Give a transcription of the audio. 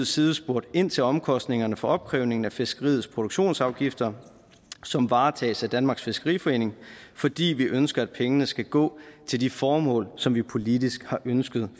side spurgte ind til omkostningerne for opkrævningen af fiskeriets produktionsafgifter som varetages af danmarks fiskeriforening fordi vi ønsker at pengene skal gå til de formål for som vi politisk har ønsket